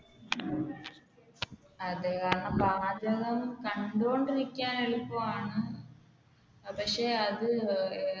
അതെ കാരണം പാചകം കണ്ടോണ്ടിരിക്കാൻ എളുപ്പമാണ് പക്ഷെ അത്